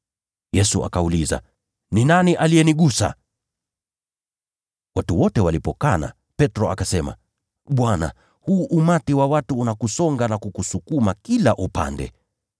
Yesu akauliza, “Ni nani aliyenigusa?” Watu wote walipokana, Petro akasema, “Bwana, huu umati wa watu unakusonga na kukusukuma kila upande.”